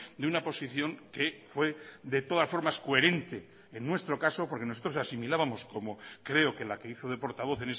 de una posición que fue de todas formas coherente en nuestro caso porque nosotros asimilábamos como creo que la que hizo de portavoz